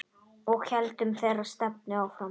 Og héldum þeirri stefnu áfram.